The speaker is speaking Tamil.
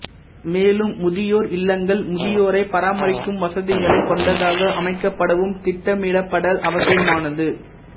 மேலும் முதியோர் இல்லங்கள் முதியோரைப் பராமரிக்கும் வசதிகளைக் கொண்டதாக அமைக்கப்படவும் திட்டமிடப்படல் அவசியமானது